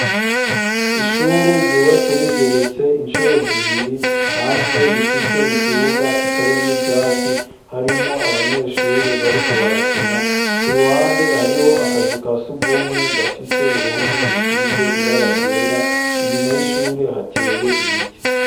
Ishure ryubatse rigeretse inshuro zibiri .Hanze rifise ikibuga kitari mw ivyatsi harimo abanyeshure bariko barakina ku ruhande hariho akazu kasugumwe gafise uruhome rusize ibara ryera inyuma y'ishure hateye ibiti.